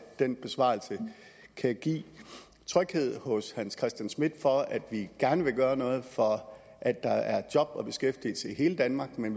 den besvarelse kan give tryghed hos herre hans christian schmidt for at vi gerne vil gøre noget for at der er job og beskæftigelse i hele danmark men